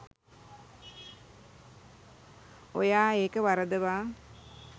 ඔයා ඒක වරදවා